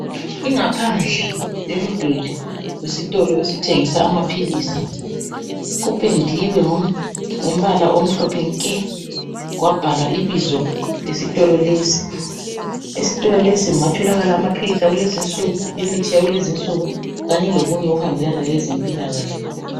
Ingaphandle yomduli wesitolo esithengisa amapilisi. Kupendiwe ngombala omhlophe nke kwabhalwa ibizo lesitolo lesi. Esitolo lesi kungatholakala amapilisi akulezinsuku, imithi yakulezinsuku kanye lokunye okuhambelana lezempilakahle.